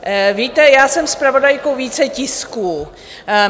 Víte, já jsem zpravodajkou více tisků.